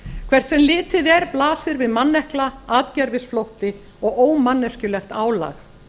hvert sem litið er blasir við mannekla atgervisflótti og ómanneskjulegt álag